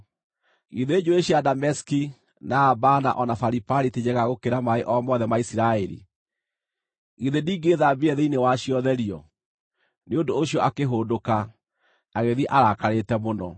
Githĩ njũũĩ cia Dameski, na Abana, o na Faripari ti njega gũkĩra maaĩ o mothe ma Isiraeli? Githĩ ndingĩĩthambire thĩinĩ wacio therio?” Nĩ ũndũ ũcio akĩhũndũka, agĩthiĩ arakarĩte mũno.